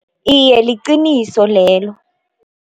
Iye, liqiniso lelo.